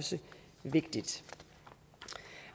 vigtigt